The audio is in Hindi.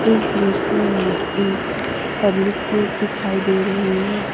इस दृश्य में एक पब्लिक प्लेस दिखाई दे रही है।